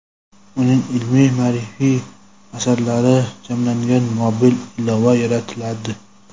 uning ilmiy-ma’rifiy asarlari jamlangan mobil ilova yaratiladi.